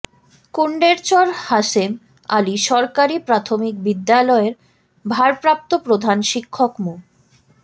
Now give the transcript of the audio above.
কুণ্ডেরচর হাসেম আলী সরকারি প্রাথমিক বিদ্যালয়ের ভারপ্রাপ্ত প্রধান শিক্ষক মো